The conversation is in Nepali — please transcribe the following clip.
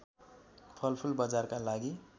फलफुल बजारका लागि